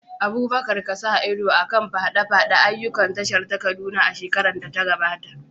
Abubakar ka sa ido a kan faɗaɗa ayyukan tashar ta Kaduna a shekarar da ta gabata.